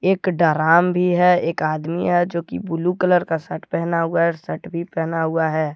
एक डराम भी है एक आदमी है जोकि ब्लू कलर का शर्ट पहना हुआ है शर्ट भी पहना हुआ है।